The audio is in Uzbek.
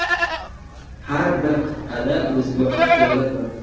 Har bir qit’ada o‘ziga xos joylar bor.